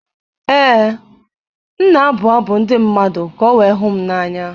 Ee, m na-abụ abụ ndị mmadụ ka o wee hụ m n’anya.